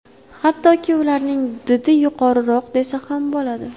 Hattoki ularning didi yuqoriroq desa ham bo‘ladi.